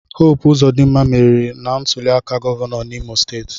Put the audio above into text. Hope Uzodimma meriri na ntuliaka gọvanọ n'Imo steeti.